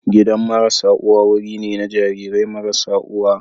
Gidan marasa uwa wuri ne na jarirai marasa uwa.